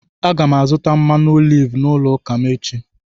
Aga m azụta mmanụ oliv n’ụlọ ụka m echi.